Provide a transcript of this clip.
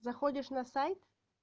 заходишь на сайт